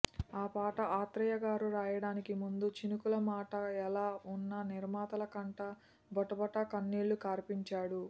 ఆ పాట ఆత్రేయగారు రాయడానికి ముందు చినుకుల మాట ఎలా వున్నా నిర్మాతల కంట బొటబొటా కన్నీళ్లు కార్పించాడు